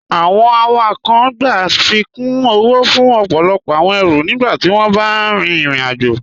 Awọn awakọń gbà afíkún owó fún ọpọlọpọ awọn èrú nígbàtí wọn bá rín ìrìn-àjọ.